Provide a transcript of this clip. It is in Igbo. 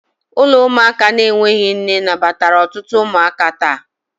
Ụlọ ụmụaka na-enweghị nne nabatara ọtụtụ ụmụaka taa